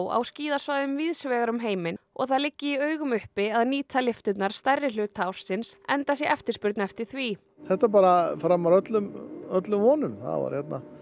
á skíðasvæðum víðs vegar um heiminn og það liggi í augum uppi að nýta lyfturnar stærri hluta ársins enda sé eftirspurn eftir því þetta er bara framar öllum öllum vonum það voru hérna